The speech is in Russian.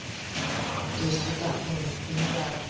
то есть вот так ну у меня